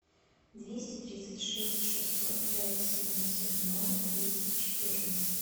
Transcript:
двести тридцать шесть шестьсот пять семьдесят ноль двести четырнадцать